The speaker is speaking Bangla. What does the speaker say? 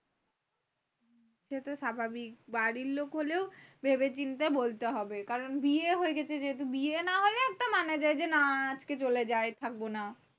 সে তো স্বাভাবিক বাড়ির লোক হলেও ভেবেচিন্তে বলতে হবে কারণ বিয়ে হয়ে গেছে। যেহেতু, বিয়ে না হলে একটা মানা যায় যে না আজকে চলে যায় থাকবো না।